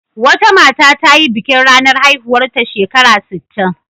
Wata mata ta yi bikin ranar haihuwarta shekara sittin.